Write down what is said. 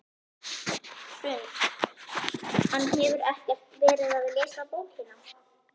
Hrund: Hann hefur ekkert verið að lesa bókina?